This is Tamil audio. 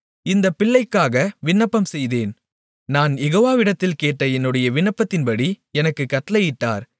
இந்தப் பிள்ளைக்காக விண்ணப்பம்செய்தேன் நான் யெகோவாவிடத்தில் கேட்ட என்னுடைய விண்ணப்பத்தின்படி எனக்குக் கட்டளையிட்டார்